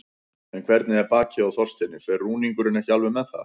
En hvernig er bakið á Þorsteini, fer rúningurinn ekki alveg með það?